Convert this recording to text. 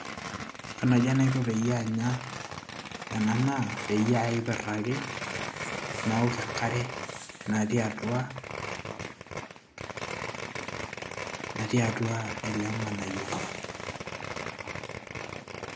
kaa naji enaiko peyie anya ena naa peyie aiperr ake nawok enkare natii atua natii atua ele ng'anayioi.